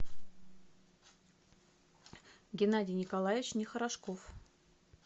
геннадий николаевич нехорошков